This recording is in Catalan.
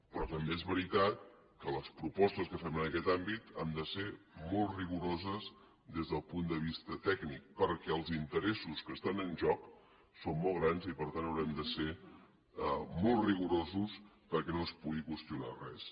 però també és veritat que les propostes que fem en aquest àmbit han de ser molt rigoroses des del punt de vista tècnic perquè els interessos que estan en joc són molt grans i per tant haurem de ser molt rigorosos perquè no es pugui qüestionar res